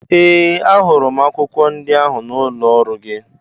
Ee! Ahụrụ m akwụkwọ ndị ahụ n'ụlọ ọrụ gị.